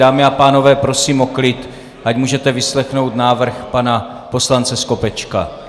Dámy a pánové, prosím o klid, ať můžete vyslechnout návrh pana poslance Skopečka.